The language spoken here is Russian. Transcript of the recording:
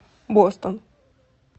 бостон